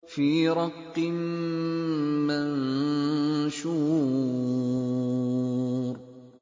فِي رَقٍّ مَّنشُورٍ